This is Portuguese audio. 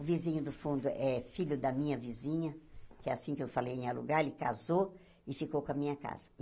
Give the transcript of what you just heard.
O vizinho do fundo é filho da minha vizinha, que é assim que eu falei em alugar, ele casou e ficou com a minha casa.